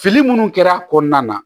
Fili minnu kɛra kɔnɔna na